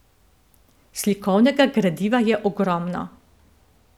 Slikovnega gradiva je ogromno.